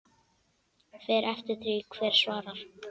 Fer eftir því hver svarar.